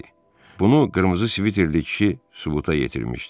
Bunu qırmızı sviterli kişi sübuta yetirmişdi.